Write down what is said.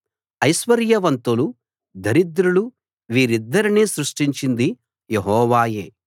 ఐశ్వర్యవంతులు దరిద్రులు వీరిద్దరినీ సృష్టించింది యెహోవాయే